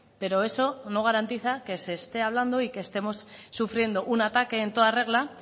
pero eso no garantiza que se esté hablando y que estemos sufriendo un ataque en toda regla